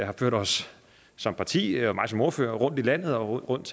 har ført os som parti og mig som ordfører rundt i landet og rundt